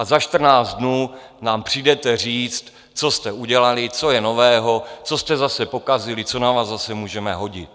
A za čtrnáct dnů nám přijdete říct, co jste udělali, co je nového, co jste zase pokazili, co na vás zase můžeme hodit.